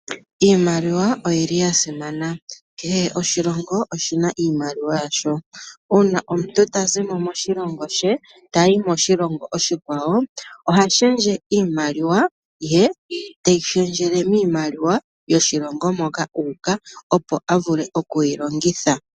Iimaliwa oya simana. Kehe oshilongo oshi na iimaliwa yasho. Uuna omuntu ta zi mo moshilongo she ta yi moshilongo oshikwawo, oha shendje iimaliwa ye teyi shendjele miimaliwa yoshilongo moka u uka, opo a vule okuyi longitha.